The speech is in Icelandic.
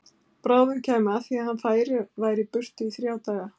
Bráðum kæmi að því að hann færi og væri í burtu í þrjá daga.